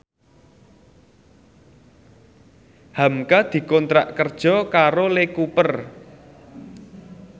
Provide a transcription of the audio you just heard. hamka dikontrak kerja karo Lee Cooper